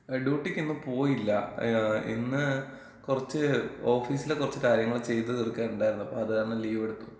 ഡൂട്ടിക്കിന്ന് പോയില്ല. ഇന്ന് കൊറച്ച് ഓഫീസിലെ കൊറച്ച് കാര്യങ്ങള് ചെയ്തു തീർക്കാൻ ണ്ടായിരുന്നു. അപ്പൊ അത്കാരണം ലീവ് എടുത്തു.